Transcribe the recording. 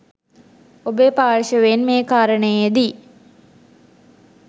ඔබේ පාර්ශවයෙන් මේ කාරණයේදී